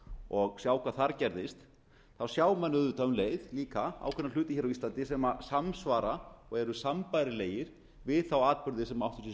og sjá hvað þar gerðist þá sjá menn auðvitað um leið líka ákveðna hluti á íslandi sem samsvara og eru sambærilegir við þá atburði sem áttu sér